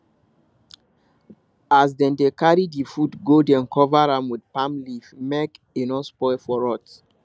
as dem dey carry the food go dem cover am with palm leaf make e no spoil for road